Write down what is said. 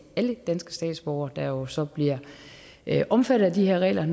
alle danske statsborgere der jo så bliver omfattet af de her regler